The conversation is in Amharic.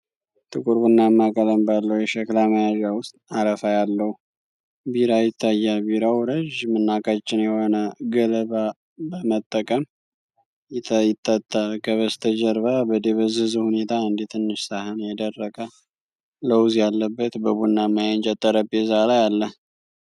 ጥቁር ቡናማ ቀለም ባለው የሸክላ መያዣ ውስጥ አረፋ ያለው ቢራ ይታያል። ቢራው ረዥም እና ቀጭን የሆነ ገለባ በመጠቀም ይጠጣል። ከበስተጀርባ በደበዘዘ ሁኔታ አንድ ትንሽ ሳህን የደረቀ ለውዝ ያለበት በቡናማ የእንጨት ጠረጴዛ ላይ አለ።